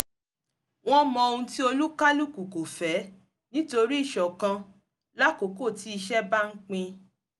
wọ́n mọ ohun tí olúkálùkò kò fẹ́ nítorí íṣọ̀kan lákókò tí iṣẹ́ bá ń pin